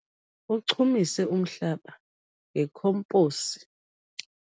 Uchumise umhlaba ngekhomposi.